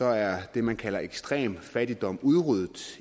er det man kalder ekstrem fattigdom udryddet